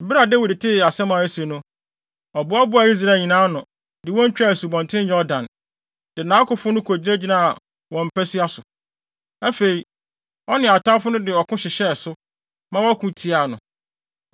Bere a Dawid tee asɛm a asi no, ɔboaboaa Israel nyinaa ano, de wɔn twaa Asubɔnten Yordan, de nʼakofo no gyinagyinaa wɔn mpasua so. Afei, ɔne atamfo no de ɔko hyehyɛɛ so, ma wɔko tiaa no.